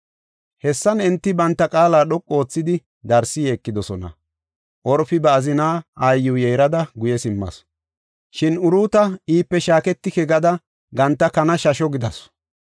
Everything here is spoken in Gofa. Hessan enti banta qaala dhoqu oothidi darsi yeekidosona. Orfi ba azina aayiw yeerada guye simmasu. Shin Uruuta iipe shaaketike gada ganta kana shasho gidasu.